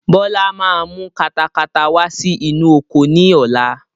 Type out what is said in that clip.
Bọlá máa mú katakata wá sí inú oko ni ọ̀la